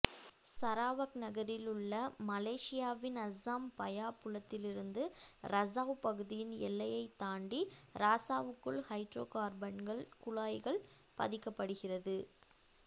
Sarawak நகரில் உள்ள மலேசியாவின் அசாம் பயா புலத்திலிருந்து இரசாவ் பகுதியின் எல்லையைத் தாண்டி இராசாவுக்குள் ஹைட்ரோகார்பன்கள் குழாய்கள் பதிக்கப்படுகிறது